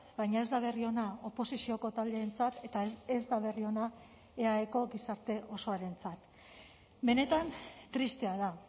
baina ez da berri ona oposizioko taldeentzat eta ez da berri ona eaeko gizarte osoarentzat benetan tristea da